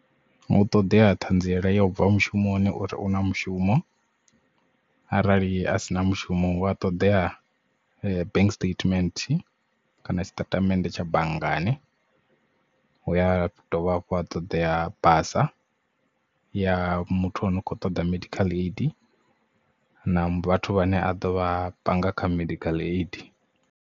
Hu ṱoḓea ṱhanziela ya u bva mushumoni uri una mushumo arali a si na mushumo u a ṱoḓea bank statement kana tshitatamennde tsha banngani hu ya dovha hafhu ha ṱoḓea basa ya muthu ano kho ṱoḓa medical aid na vhathu vhane a ḓovha panga kha medical aid.